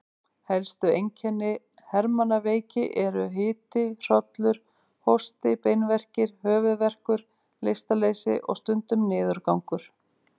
Helstu einkenni hermannaveiki eru hiti, hrollur, hósti, beinverkir, höfuðverkur, lystarleysi og stundum niðurgangur.